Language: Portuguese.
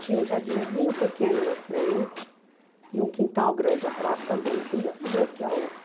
Tinha um jardinzinho pequeno na frente e um quintal grande atrás também, do mesmo jeito que a outra.